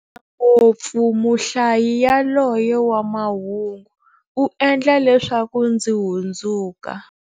Ngopfu muhlayi yaloye wa mahungu, u endla leswaku ndzi hlundzuka.